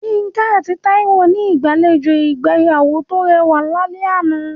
Yinka àti Taiwo ní ìgbàlejò ìgbéyàwó tó rẹwà lálẹ́ àná.